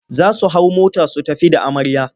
Za su hau mota su tafi da amarya.